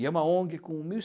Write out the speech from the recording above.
E é uma Ong com mil